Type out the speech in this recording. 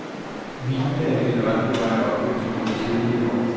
Vinene er generelt på vej op efter nogle kedelige år.